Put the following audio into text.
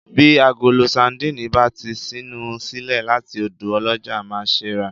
Bí agolo sandínì bá ti ṣínu sílẹ̀ láti ọ̀dọ̀ ọlọ́jà, má ṣe ràá